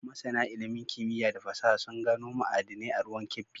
Masana ilimin kimiyya da fasaha sun gano ma'adinai a ruwan Kebbi